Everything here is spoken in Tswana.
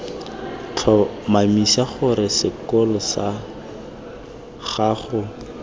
tlhomamisa gore sekolo sag ago